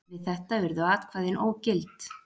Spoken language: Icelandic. Við þetta urðu atkvæðin ógild.